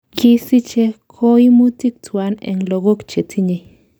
Kisiche koimutik tuwan en logok chetinye.